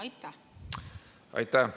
Aitäh!